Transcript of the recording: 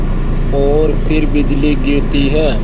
और फिर बिजली गिरती है